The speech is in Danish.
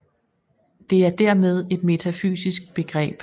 Det er dermed et metafysisk begreb